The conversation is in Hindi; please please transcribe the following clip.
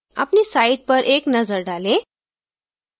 अपनी site पर एक नजर डालें